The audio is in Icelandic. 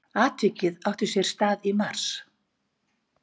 Atvikið átti sér stað í mars